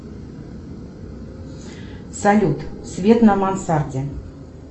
салют свет на мансарде